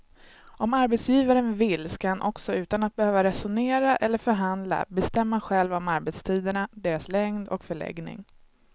Om arbetsgivaren vill ska han också utan att behöva resonera eller förhandla bestämma själv om arbetstiderna, deras längd och förläggning.